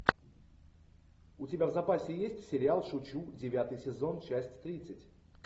у тебя в запасе есть сериал шучу девятый сезон часть тридцать